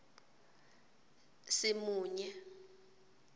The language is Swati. simunye